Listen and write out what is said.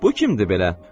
Bu kimdir belə?